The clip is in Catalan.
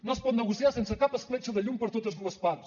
no es pot negociar sense cap escletxa de llum per totes dues parts